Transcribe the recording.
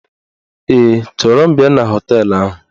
Ee, chọrọ m bịa na họteelụ ahụ